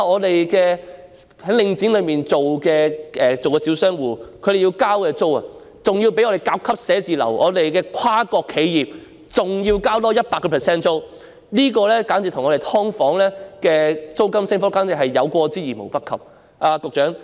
大家想想，在"領剪"商場經營的小商戶所繳交的租金，較本港甲級寫字樓、跨國企業支付的租金還要高出 100%， 這簡直與"劏房"的租金升幅有過之而無不及。